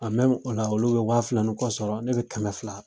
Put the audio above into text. A mɛmu ola olu bɛ waa fila ni kɔ sɔrɔ ne bɛ kɛmɛ fila